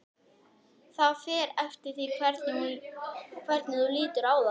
Það fer eftir því hvernig þú lítur á það.